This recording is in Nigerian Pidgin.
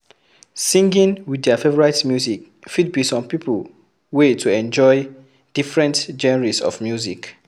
Singing with their favourite music fit be some pipo wey to enjoy different genres of music